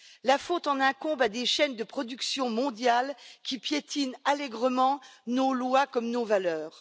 La faute en incombe à des chaînes de production mondiales qui piétinent allègrement nos lois comme nos valeurs.